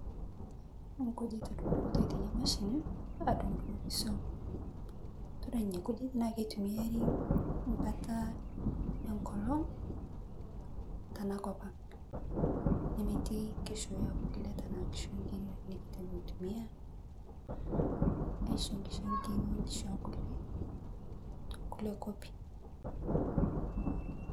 Nkijit edungitoi tena mashini aadung'oki iswam tadua nena kujit naa kitumiari embata enkolong' tena kop ang' aisho nkishu ekule tekulie kuapi.